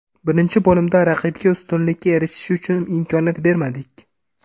Birinchi bo‘limda raqibga ustunlikka erishishi uchun imkoniyat bermadik.